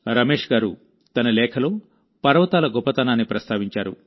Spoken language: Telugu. రమేశ్ గారు తన లేఖలో పర్వతాల గొప్పతనాన్ని ప్రస్తావించారు